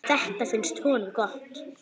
Þetta finnst honum gott.